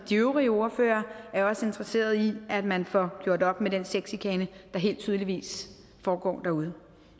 de øvrige ordførere også interesseret i at man får gjort op med den sexchikane der helt tydeligt foregår derude